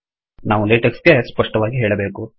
ನಾವು ಲೇಟೆಕ್ಸ್ ಗೆ ಸ್ಪಷ್ಟವಾಗಿ ಹೇಳಬೇಕು